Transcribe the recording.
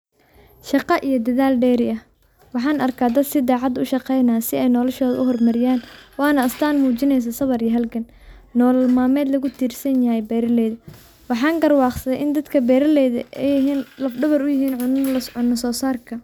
Shaqa iyo dadl deri ah wxan arka dada si dacad u shaqenihayo si ay noloshothaa u hormariyan wana Astan mujineyso sawar iyo halgan ,nolol malmed lagutirsanyahay beraleyda wxa garwaqsade indadka beraleyda ay yihin, lafdawarka u yihin cuna sosarka.